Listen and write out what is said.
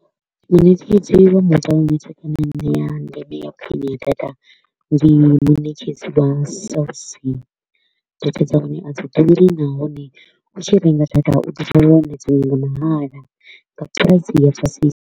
Muṋetshedzi wa mobile network i ne ya ndeme ya khwine ya data ndi muṋetshedzi wa Cell C, data dza hone a dzi ḓuri nahone u tshi renga data u ḓi wana dzinwe nga mahala nga price ya fhasisa.